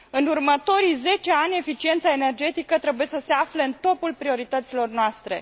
În următorii zece ani, eficiența energetică trebuie să se afle în topul priorităților noastre.